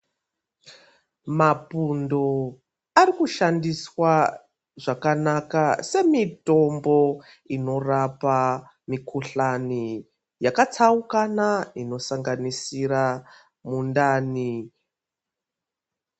Mapundo arikushandiswa zvakanaka semutombo inorapa mikuhlani yakatsaukana inosanganisira mundani.